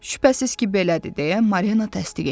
Şübhəsiz ki, belədir deyə Marina təsdiq etdi.